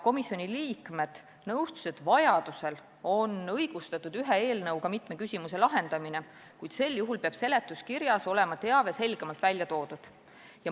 Komisjoni liikmed nõustusid, et vajadusel on õigustatud ühe eelnõuga mitme küsimuse lahendamine, kuid sel juhul peab seletuskirjas olema selgem teave.